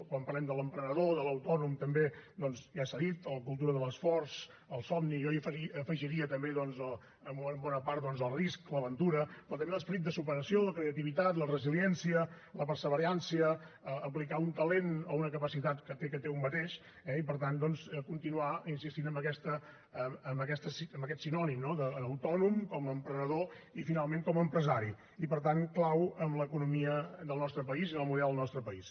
quan parlem de l’emprenedor de l’autònom també ja s’ha dit la cultura de l’esforç el somni jo hi afegiria també en bona part doncs el risc l’aventura però també l’esperit de superació la creativitat la resiliència la perseverança aplicar un talent o una capacitat que té un mateix eh i per tant continuar insistint amb aquest sinònim no d’ autònom com a emprenedor i finalment com a empresari i per tant clau en l’economia del nostre país i en el model del nostre país